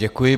Děkuji.